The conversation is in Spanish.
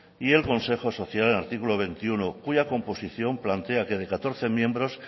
y el consejo social artículo veintiuno cuya composición plantea que de catorce miembros